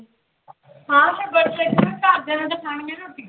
ਹਾਂ ਫਿਰ ਵਰਤ ਰੱਖਿਆ ਘਰਦਿਆਂ ਨੇ ਤਾਂ ਖਾਣੀਆਂ ਰੋਟੀਆਂ।